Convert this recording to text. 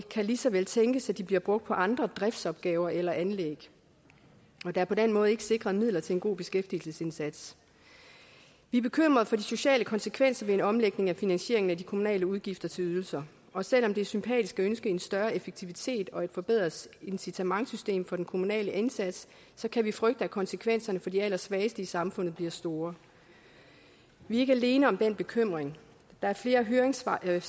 lige så vel kan tænkes at de bliver brugt på andre driftsopgaver eller anlæg og at der på den måde ikke er sikret midler til en god beskæftigelsesindsats vi er bekymret for de sociale konsekvenser ved en omlægning af finansieringen af de kommunale udgifter til ydelser og selv om det er sympatisk at ønske en større aktivitet og et forbedret incitamentssystem for den kommunale indsats kan vi frygte at konsekvenserne for de allersvageste i samfundet bliver store vi er ikke alene om den bekymring der er flere af høringssvarene